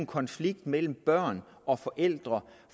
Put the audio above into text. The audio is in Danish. konflikt mellem børn og forældre